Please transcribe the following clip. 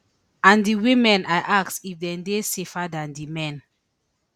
and di women i ask if dem dey safer dan di men